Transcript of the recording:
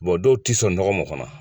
dɔw ti sɔn nɔgɔ ma o kɔnɔ